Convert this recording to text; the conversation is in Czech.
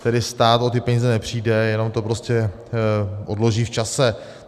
Tedy stát o ty peníze nepřijde, jenom to prostě odloží v čase.